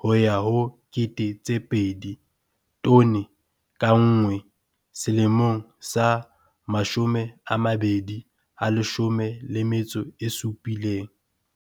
ho ya ho R2 000 tone ka nngwe selemong sa 2017.